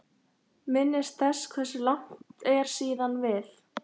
Minnist þess hversu langt er síðan við